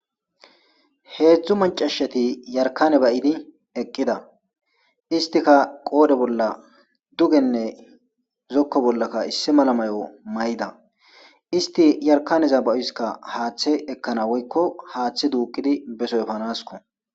Hezdzdu macashat yarikane ba'idi eqida, istika qoodhe bolla dugenne zoko bollaka issi mala mayo mayida , ist yarkaneza ba'oysaka haathe ekana woyko haathe duqid beso efanasko.